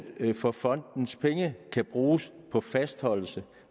for at fondens penge kan bruges på fastholdelse